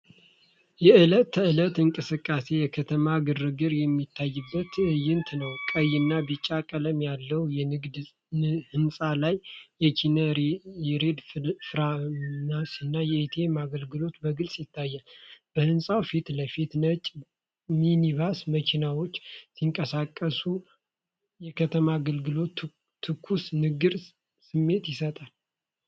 የዕለት ተዕለት እንቅስቃሴና የከተማ ግርግር የሚታይበት ትዕይንት ነው። ቀይና ቢጫ ቀለም ያለው የንግድ ህንፃ ላይ የኪኒ ያሬድ ፋርማሲ እና ATM አገልግሎቶች በግልጽ ይታያሉ። ከህንፃው ፊት ለፊት ነጭ ሚኒባስና መኪናዎች ሲንቀሳቀሱ፣ የከተማ አገልግሎትና ትኩስ ንግድ ስሜት ይሰጣል።